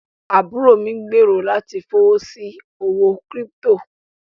ábúró mí n gbẹ̀rọ̀ láti fọwọ́ sí owó kírípítò.